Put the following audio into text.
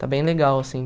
Está bem legal, assim.